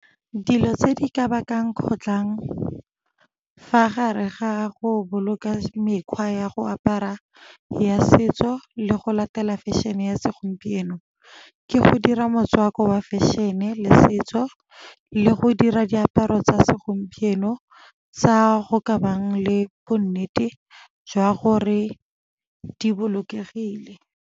Dilo tse di ka bakang kgotlang fa gare ga go boloka mekgwa ya go apara ya setso le go latela fashion-e ya segompieno, ke go dira motswako wa fashion-e le setso le go dira diaparo tsa segompieno tsa go ka bang le bonnete jwa gore di bolokegile.